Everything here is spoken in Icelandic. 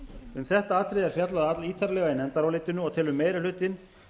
um þetta atriði er fjallað allítarlega í nefndarálitinu og telur meiri hlutinn